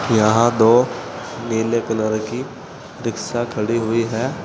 यहां दो नीले कलर की रिक्शा खड़ी हुई है।